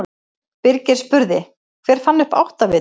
Birgir spurði: Hver fann upp áttavitann?